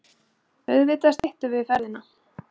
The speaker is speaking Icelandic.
Auðvitað styttum við ferðina.